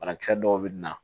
Banakisɛ dɔw bɛ na